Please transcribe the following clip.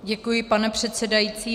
Děkuji, pane předsedající.